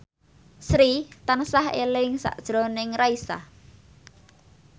Sri tansah eling sakjroning Raisa